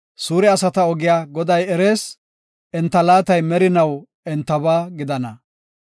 Suure asata ogiya Goday erees; enta laatay merinaw entaba gidana.